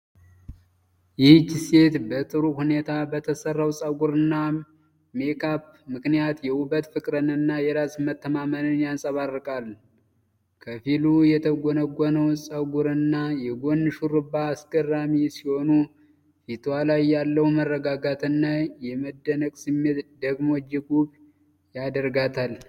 ይህች ሴት በጥሩ ሁኔታ በተሰራው ጸጉርና ሜካፕ ምክንያት የውበት ፍቅርንና የራስ መተማመንን ታንጸባርቃለች። ከፊሉ የተጎነጎነው ጸጉርና የጎን ሹሩባ አስገራሚ ሲሆኑ፣ ፊቷ ላይ ያለው የመረጋጋትና የመደነቅ ስሜት ደግሞ እጅግ ውብ ያደርጋታል።